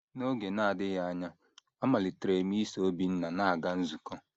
N’oge na - adịghị anya, amalitere m iso Obinna na - aga nzukọ.